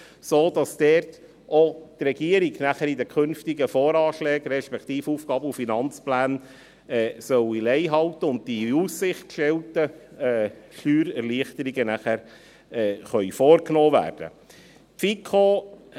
Damit soll die Regierung auch bei den künftigen Voranschlägen (VA), respektive Aufgaben- und Finanzplänen (AFP), Lei halten, sodass die in Aussicht gestellten Steuererleichterungen dann vorgenommen werden können.